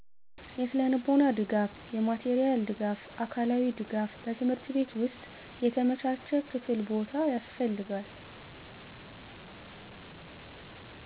የስነልቦና ድጋፍ የማቴሪያል ድጋፍ አካላዊ ድጋፍ በትምህርት ቤት ውስጥ የተመቻቸ ክፍል ቦታ ያስፈልጋል